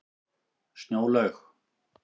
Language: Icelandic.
Snjólaug